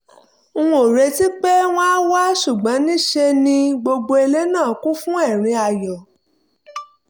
n ò retí pé wọ́n á wá ṣùgbọ́n ní í ṣe ni gbogbo ilé náà kún fún ẹ̀rín ayọ̀